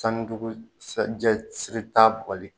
siri tan bugɔli